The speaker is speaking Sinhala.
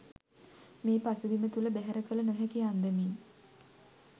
මේ පසුබිම තුළ බැහැර කළ නොහැකි අන්දමින්